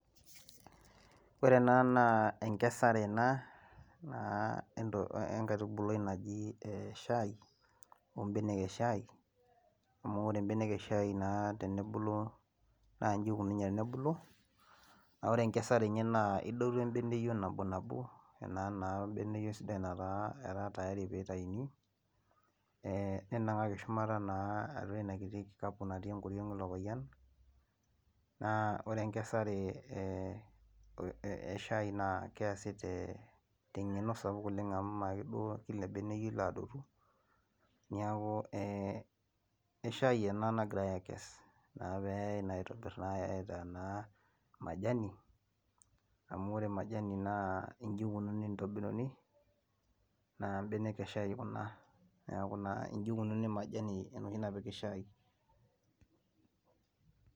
Ore ena naa enkesare ena, enkaitubului naji shai, ibenek eshai, amu ore benek eshai naa tenebulu, naa iji ikununye tenebulu, neeku ore enkesare enye naa, idotu ebeneyip nabinabo, ena naa beneyio sidai netaa tayari pee itayuni, we ninangaki shumata naa eina kikapu natii shumata eilo payian. Naa ore enkesare eshai naa keesi te ng'eno sapuk oleng amu ime ake duo Kila beneyio, ilo aadotu neeku we shai ena nagirae aakes, naa pee eyae naa aitobir naa majani, amu ore majani naa iji ikununi ntokitin, naa benek eshai, Kuna naa iji ikununi majani enoshi napiki shai.